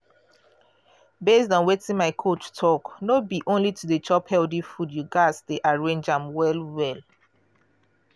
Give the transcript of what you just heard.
based on wetin my coach talk no be only to dey chop healthy food you gas dey arrange am well well.